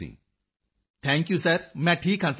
Manzoor ji thank you sir ਮੈਂ ਠੀਕ ਹਾਂ ਸਰ